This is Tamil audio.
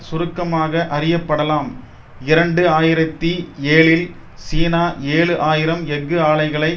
சுருக்கமாக அறியப்படலாம் இரண்டு ஆயிரத்தி ஏழில் சீனா ஏழு ஆயிரம் எஃகு ஆலைகளை